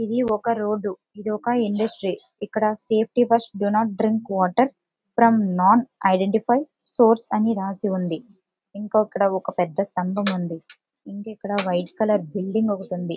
ఇది ఒక రోడ్డు ఇది ఒక ఇండస్ట్రీ ఇక్కడ safety first do not drink water from not identify source అని రాసి ఉంది ఇంకొక్క పెద్ద స్తంభం ఉంది ఇంక ఇక్కడ వైట్ కలర్ బిల్డింగ్ ఒకటి ఉంది.